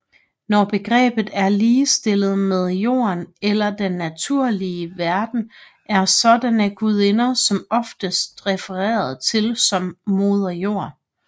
Når begrebet er ligestillet med Jorden eller den naturlige verden er sådanne gudinder som oftest refereret til som Moder Jord